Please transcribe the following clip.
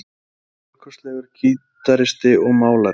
Hann er stórkostlegur gítaristi og málari.